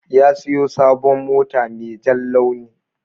Ya siyo sabon mota mai jan launi.